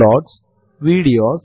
എന്നിട്ട് എന്റർ അമർത്തുക